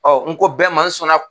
Ɔ n ko bɛɛ ma n sɔnna